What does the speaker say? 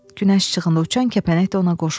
Günəş işığında uçan kəpənək də ona qoşuldu.